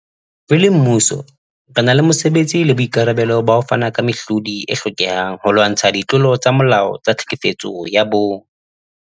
Re le mmuso, re na le mosebetsi le boikarabelo ba ho fana ka mehlodi e hlokehang holwantshwa ditlolo tsa molao tsa tlhekefetso ya bong.